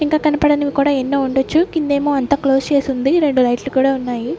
ఇంకా కనబడనివి కూడా ఎన్నో ఉండొచ్చు కిందేమో అంతా క్లోజ్ చేసుంది రెండు లైట్లు కూడా ఉన్నాయి.